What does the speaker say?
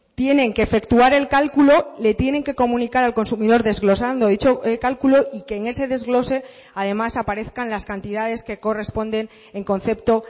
tienen que efectuar el cálculo le tienen que comunicar al consumidor desglosando dicho cálculo y que en ese desglose además aparezcan las cantidades que corresponden en concepto